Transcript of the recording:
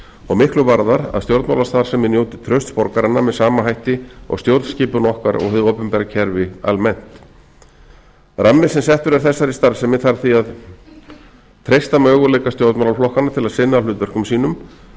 og miklu varðar að stjórnmálastarfsemi njóti trausts borgaranna með sama hætti og stjórnskipun okkar og hið opinbera kerfi almennt rammi sem settur er þessari starfsemi þarf því að treysta möguleika stjórnmálaflokkana til að sinna hlutverkum sínum